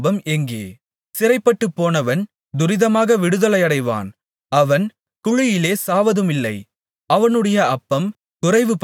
சிறைப்பட்டுப்போனவன் துரிதமாக விடுதலையாவான் அவன் குழியிலே சாவதுமில்லை அவனுடைய அப்பம் குறைவுபடுவதுமில்லை